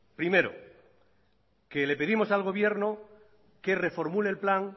primero que le pedimos al gobierno que reformule el plan